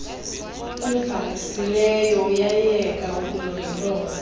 ubhalisileyo uyayeka ukulondoloza